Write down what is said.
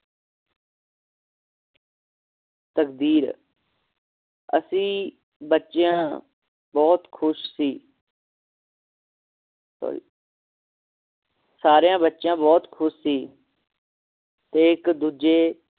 ਤਕਦੀਰ ਅਸੀਂ ਬੱਚਿਆਂ ਬਹੁਤ ਖੁਸ਼ ਸੀ ਸਾਰਿਆਂ ਬੱਚਿਆਂ ਬਹੁਤ ਖੁਸ਼ ਸੀ ਤੇ ਇੱਕ ਦੂਜੇ